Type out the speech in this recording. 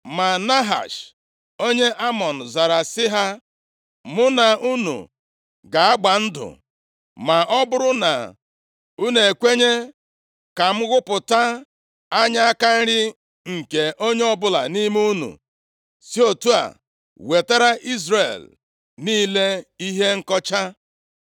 Ma Nahash, onye Amọn zara sị ha, “Mụ na unu ga-agba ndụ ma ọ bụrụ na unu ekwenye ka m ghụpụta anya aka nri nke onye ọbụla nʼime unu, si otu a wetara Izrel niile ihe nkọcha.”